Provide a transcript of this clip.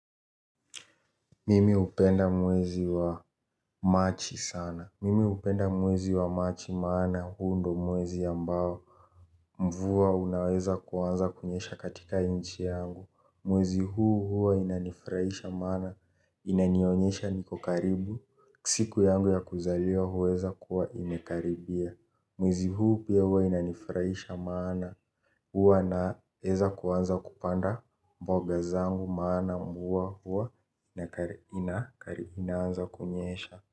Mimi hupenda mwezi wa machi sana. Mimi hupenda mwezi wa machi sana maana huu ndio mwezi ambao mvua unaweza kuanza kunyesha katika nchi yangu. Mwezi huu huwa inanifurahisha maana. Inanionyesha niko karibu. Siku yangu ya kuzaliwa huweza kuwa imekaribia. Mwezi huu pia huwa inanifurahisha maana huwa naeza kuanza kupanda mboga zangu maana mvua huwa inakaribia inaanza kunyesha.